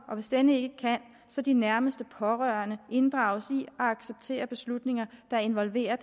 og hvis denne ikke kan så de nærmeste pårørende inddrages i og accepterer beslutninger der involverer